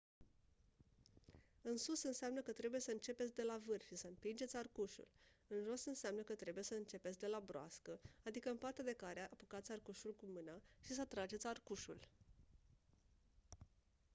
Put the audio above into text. în sus înseamnă că trebuie să începeți de la vârf și să împingeți arcușul; în jos înseamnă că trebuie să începeți de la broască adică în partea de care apucați arcușul cu mâna și să trageți arcușul